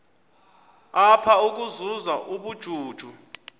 apha ukuzuza ubujuju